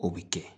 O bɛ kɛ